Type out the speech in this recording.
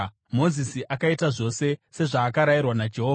Mozisi akaita zvose sezvaakarayirwa naJehovha.